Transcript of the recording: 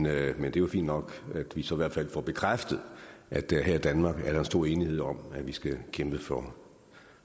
er jo fint nok at vi så i hvert fald får bekræftet at der her i danmark er en stor enighed om at vi skal kæmpe for